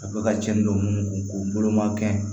A bɛ ka cɛnni don k'o bolo ma kɛ